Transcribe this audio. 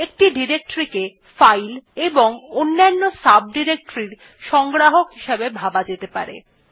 একটি ডিরেক্টরী কে ফাইল এবং অন্যান্য ডিরেক্টরিস এর সংগ্রাহক হিসেবে ভাবা যেতে পারে